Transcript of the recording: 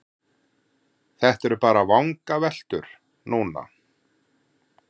Þetta eru bara vangaveltur núna.